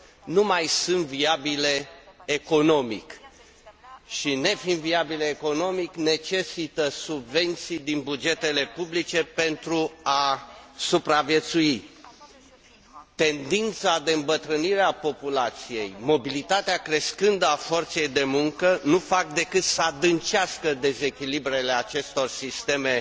nu mai sunt viabile economic și, nefiind viabile economic, necesită subvenții din bugetele publice pentru a supraviețui Tendința de îmbătrânire a populației, mobilitatea crescândă a forței de muncă nu fac decât să adâncească dezechilibrele acestor sisteme